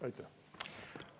Aitäh!